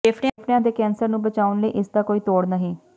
ਫੇਫੜਿਆਂ ਦੇ ਕੈਂਸਰ ਨੂੰ ਬਚਾਉਣ ਲਈ ਇਸ ਦਾ ਕੋਈ ਤੋੜ ਨਹੀਂ